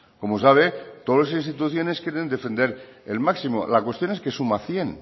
como sabe todas las instituciones quieren defender el máximo la cuestión es que suma cien